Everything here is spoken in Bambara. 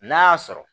N'a y'a sɔrɔ